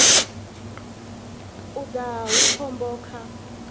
u daha hu khombo kha